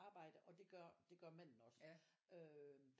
Arbejde og det gør det gør manden også øh